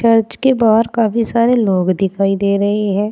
Church के बाहर काफी सारे लोग दिखाई दे रही है।